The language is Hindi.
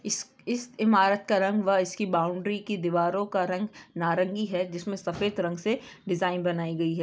इस-इस इमारत का रंग वह इसकी बाउंड्री की दीवारों का रंग नारंगी है जिसमे सफेद रंग से डिज़ाइन बनाई गई है।